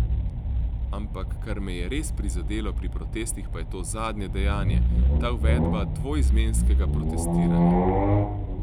Ampak, kar me je res prizadelo pri protestih pa je to zadnje dejanje, ta uvedba dvoizmenskega protestiranja.